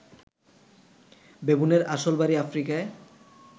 বেবুনের আসল বাড়ি আফ্রিকায়